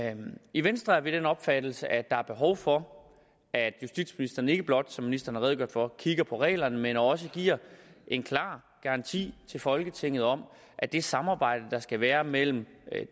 i venstre er vi af den opfattelse at der er behov for at justitsministeren ikke blot som ministeren har redegjort for kigger på reglerne men også giver en klar garanti til folketinget om at det samarbejde der skal være mellem